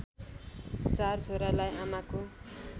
चार छोरालाई आमाको